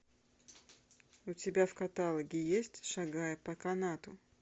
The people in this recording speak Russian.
у тебя в каталоге есть шагая по канату